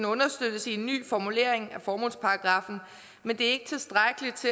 understøttes i en ny formulering af formålsparagraffen men det